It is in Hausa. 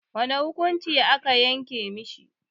Wane hukunci a ka yanke mishi?